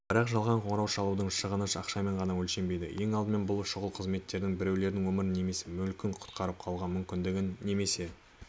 бірақ жалған қоңырау шалудың шығыны ақшамен ғана өлшенбейді ең алдымен бұл шұғыл қызметтердің біреулердің өмірін немесе мүлкін құтқарып қалу мүмкіндігі немесе